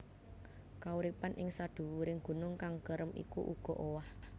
Kauripan ing sadhuwuring gunung kang kerem iku uga owah